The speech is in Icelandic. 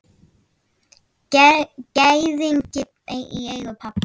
Gæðingi í eigu pabba.